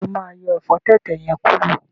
Ṣe o ma yọ ẹfọ tẹ̀tẹ̀ yẹn kuro?